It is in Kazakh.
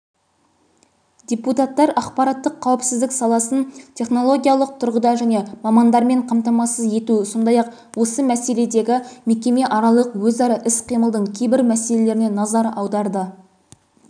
депутаттар ақпараттық қауіпсіздік саласын технологиялық тұрғыда және мамандармен қамтамасыз ету сондай-ақ осы мәселедегі мекеме аралық өзара іс-қимылдың кейбір мәселелеріне назар аударды